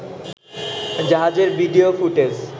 জাহাজের video footage